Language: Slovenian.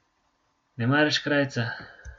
Ne maraš krajca?